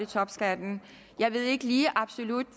topskatten jeg ved ikke lige absolut